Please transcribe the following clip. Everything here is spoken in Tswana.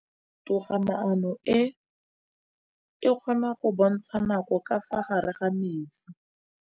Toga-maanô e, e kgona go bontsha nakô ka fa gare ga metsi.